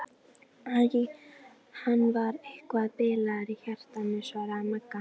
Æ, hann var eitthvað bilaður í hjartanu svaraði Magga.